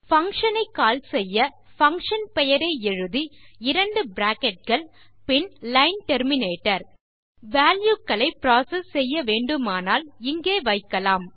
function ஐ call செய்ய function பெயரை எழுதி 2 பிராக்கெட்ஸ் பின் லைன் டெர்மினேட்டர் வால்யூ களை புரோசெஸ் செய்ய வேண்டுமானால் இங்கே வைக்கலாம்